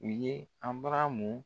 U ye ABARAMU.